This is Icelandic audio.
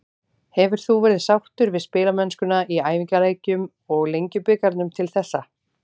Hefur þú verið sáttur við spilamennskuna í æfingaleikjum og Lengjubikarnum til þessa?